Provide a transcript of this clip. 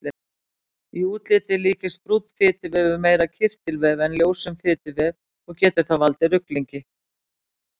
Í útliti líkist brúnn fituvefur meira kirtilvef en ljósum fituvef og getur það valdið ruglingi.